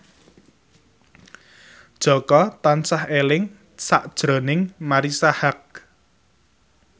Jaka tansah eling sakjroning Marisa Haque